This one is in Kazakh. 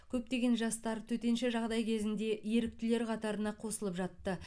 көптеген жастар төтенше жағдай кезінде еріктілер қатарына қосылып жатты